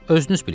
Özünüz bilin.